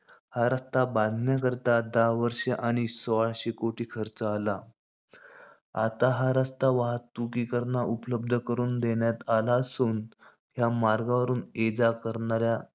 हा रस्ता बांधण्याकरता दहा वर्ष आणि सोळाशे कोटी खर्च आला. आता हा रस्ता वाहतुकीकरना उपलब्ध करून देण्यात आला असुन. या मार्गावरून ये जा करणाऱ्या,